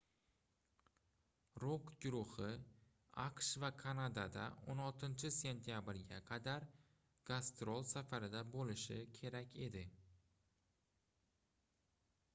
rok guruhi aqsh va kanadada 16-sentyabrga qadar gastrol safarida boʻlishi kerak edi